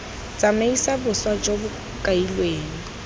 tsamaisa boswa jo bo kailweng